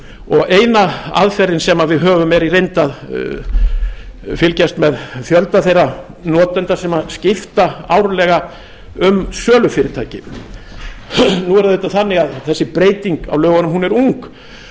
og eina aðferðin sem við höfum er í reynd að fylgjast með fjölda þeirra notenda sem skipta árlega um sölufyrirtæki nú er það auðvitað þannig að þessi breyting á lögunum er ung og